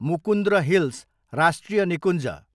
Mukundra hills राष्ट्रिय निकुञ्ज